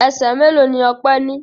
Ẹsẹ̀ mélòó ni Ọpẹ́ ní?